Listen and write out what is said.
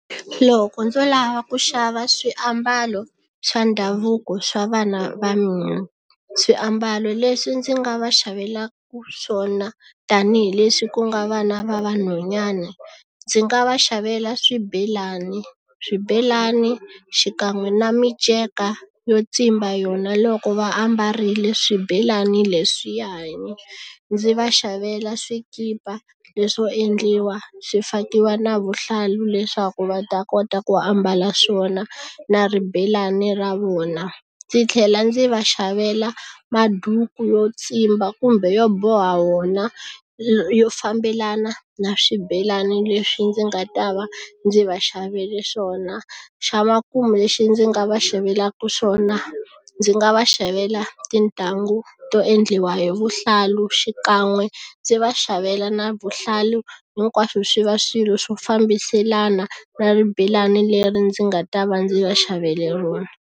Loko ndzo lava ku xava swiambalo swa ndhavuko swa vana va mina swiambalo leswi ndzi nga va xavela swona tanihileswi ku nga vana va vanhwanyana ndzi nga va xavela swibelani swibelani xikan'we na miceka yo tsimba yona loko va ambarile swibelani leswiyani ndzi va xavela swikipa leswo endliwa swi fakiwa na vuhlalu leswaku va ta kota ku ambala swona na ribelani ra vona ndzi tlhela ndzi va xavela maduku yo tsimba kumbe yo boha wona yo fambelana na swibelani leswi ndzi nga ta va ndzi va xavele swona xa makumu lexi ndzi nga va xavelaka swona ndzi nga va xavela tintangu to endliwa hi vuhlalu xikan'we ndzi va xavela na vuhlalu hinkwaswo swi va swilo swo fambiselana na ribelani leri ndzi nga ta va ndzi va xavele rona.